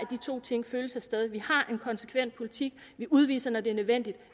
to ting følges ad vi har en konsekvent politik vi udviser når det er nødvendigt